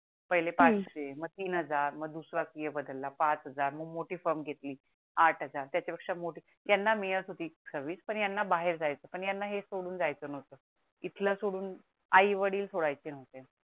पहिले पाचसे मग तीन हजार मग दूसरा सिए बदला पाच हजार मग मिठी फॉर्म घेतली आठ हजार त्याच्या पेक्षा मोठी यांना मिडत होती सर्विस पण यांना बाहेर जायच पण यांना हे सोडून जायच नोव्हत इथल सोडून आई वडील सोडयाचे नोव्हते